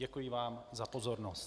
Děkuji vám za pozornost.